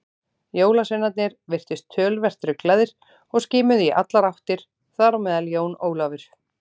Jólasveinarnir virtust töluvert ruglaðir og skimuðu í allar áttir, þar á meðal Jón Ólafur.